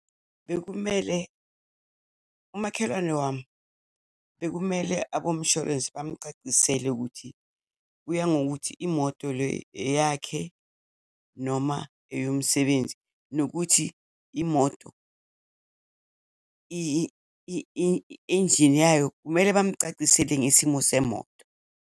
Bekumele, umakhelwane wami bekumele abomshorensi bamcacisele ukuthi, kuya ngokuthi imoto le eyakhe, noma eyomsebenzi, nokuthi imoto injini yayo, kumele bamcacisele ngesimo semoto.